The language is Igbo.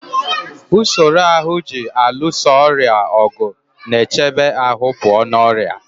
Usoro ahụ ji alụso ọrịa ọgụ na-echebe ahụ pụọ na ọrịa.